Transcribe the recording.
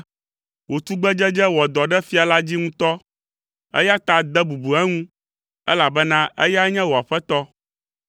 Wò tugbedzedze wɔ dɔ ɖe fia la dzi ŋutɔ, eya ta de bubu eŋu, elabena eyae nye wò aƒetɔ.